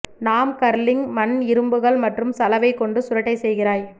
நாம் கர்லிங் மண் இரும்புகள் மற்றும் சலவை கொண்டு சுருட்டை செய்கிறாய்